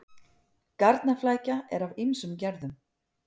Garnaflækja er af ýmsum gerðum.